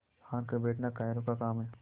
हार कर बैठना कायरों का काम है